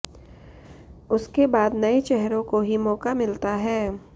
उसके बाद नये चेहरों को ही मौका मिलता है